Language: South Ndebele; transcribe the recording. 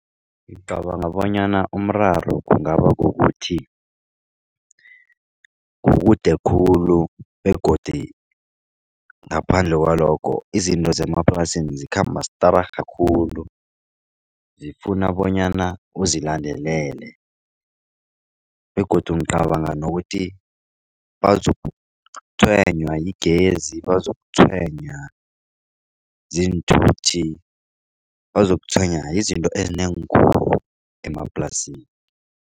Ngicabanga bonyana umraro kungaba kukuthi kukude khulu begodu ngaphandle kwalokho izinto zemaplasini zikhamba stararha khulu. Zifuna bonyana uzilandelele begodu ngicabanga nokuthi yigezi bazokutshwenya ziinthuthi bazokutshwenya yizinto ezinengi khulu emaplasini.